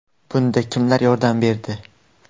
Bunda kimlar yordam berdi?